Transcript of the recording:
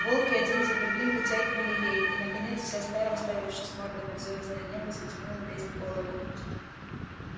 волки один за другим подтягивали ей и наконец вся стая уставившись мордами в звёздное небо затянула песнь голода